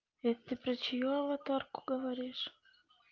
это ты про чью аватарку говоришь